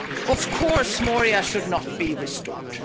Of course, Moria should not be restored.